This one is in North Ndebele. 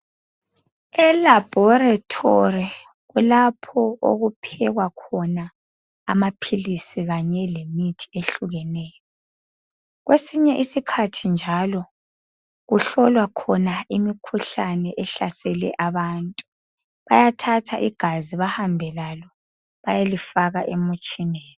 ELaboretory kulapho okuphekwa khona àmaphilisi kanye lemithi ehlukeneyo kwesinye isikhathi njalo kuhlolwa khona imikhuhlane ehlasele abantu bayathatha igazi behambe lalo bayelifaka emutshineni